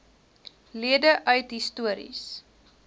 lede uit histories